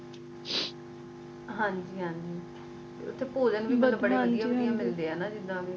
ਹਾਂਜੀ ਹਾਂਜੀ ਓਥੇ ਭੋਜਨ ਵੀ ਬੜੇ ਵਧੀਆ ਵਧੀਆ ਮਿਲਦੇ ਆ ਜੀਦਾ